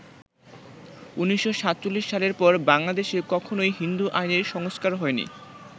১৯৪৭ সালের পর বাংলাদেশে কখনই হিন্দু আইনের সংস্কার হয়নি।